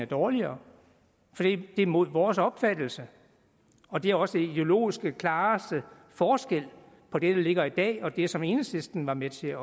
dårligere for det er imod vores opfattelse og det er også den ideologisk klareste forskel på det der ligger i dag og det som enhedslisten var med til at